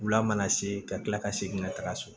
Wula mana se ka kila ka segin ka taga so